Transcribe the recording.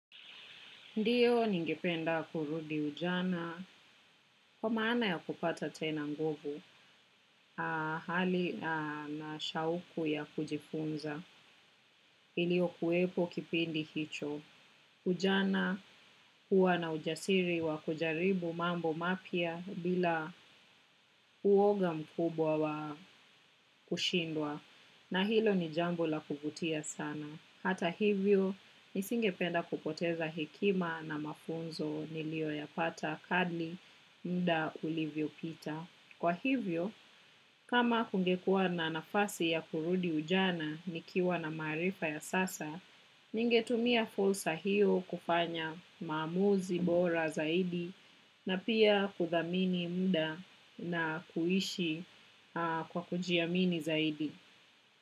Ndio ningependa kurudi ujana kwa maana ya kupata tena nguvu hali na shauku ya kujifunza iliokuwepo kipindi hicho ujana huwa na ujasiri wa kujaribu mambo mapya bila uoga mkubwa wa kushindwa na hilo ni jambo la kuvutia sana. Hata hivyo, nisingependa kupoteza hekima na mafunzo nilio ya pata kadri mda ulivyo pita. Kwa hivyo, kama kungekua na nafasi ya kurudi ujana nikiwa na maarifa ya sasa, ningetumia fursa hiyo kufanya maamuzi bora zaidi na pia kuthamini mda na kuishi kwa kujiamini zaidi.